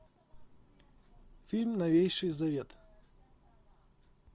фильм новейший завет